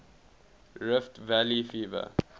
rift valley fever